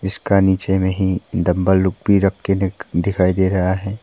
इसका नीचे में हीं डम्बल लोग भी रख के दिखाई दे रहा है।